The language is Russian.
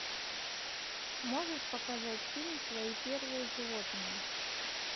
можешь показать фильм твои первые животные